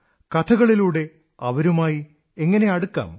കഥകളിലൂടെ അവരുമായി എങ്ങനെ അടുക്കാം